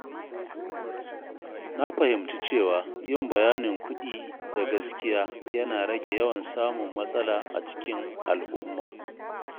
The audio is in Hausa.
Na fahimci cewa yin bayanin kuɗi da gaskiya yana rage yawan samun matsala a cikin al'umma.